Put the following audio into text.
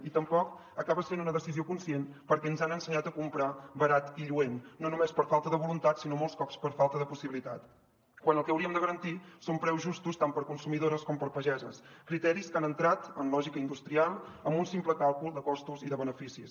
i tampoc acaba sent una decisió conscient perquè ens han ensenyat a comprar barat i lluent no només per falta de voluntat sinó molts cops per falta de possibilitat quan el que hauríem de garantir són preus justos tant per a consumidores com per a pageses criteris que han entrat en lògica industrial amb un simple càlcul de costos i de beneficis